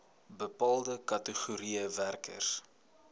bepaalde kategorieë werkers